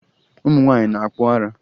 Ụmụ nwaanyị na-akpụ ara